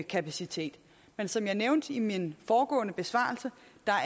kapacitet men som jeg nævnte i min foregående besvarelse